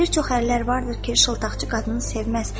Bir çox ərlər vardır ki, şıltaqçı qadını sevməz.